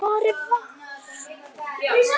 Hvar er VAR?